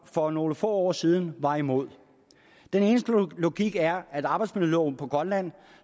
for nogle få år siden var imod den eneste logik er at arbejdsmiljøloven på grønland